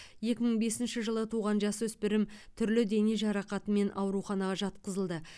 екі мың бесінші жылы туған жасөспірім түрлі дене жарақатымен ауруханаға жатқызылды